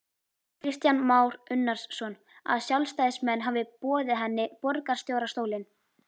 Kristján Már Unnarsson: Að sjálfstæðismenn hafi boðið henni borgarstjórastólinn?